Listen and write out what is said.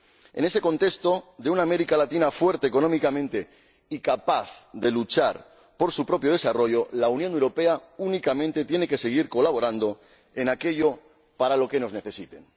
En ese contexto de una América Latina fuerte económicamente y capaz de luchar por su propio desarrollo, la Unión Europea únicamente tiene que seguir colaborando en aquello para lo que nos necesiten.